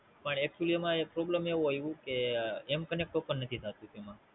પણ Actually માં એક Problem એવું આવ્યું કે M connect open નથી થતું એમાં